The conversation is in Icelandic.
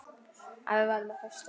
Að við værum á föstu.